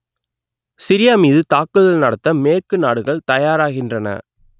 Syria மீது தாக்குதல் நடத்த மேற்கு நாடுகள் தயாராகின்றன